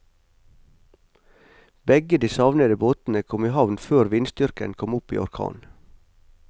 Begge de savnede båtene kom i havn før vindstyrken kom opp i orkan.